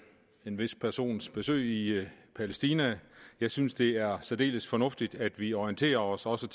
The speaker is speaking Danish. vis persons besøg i palæstina jeg synes det er særdeles fornuftigt at vi orienterer os også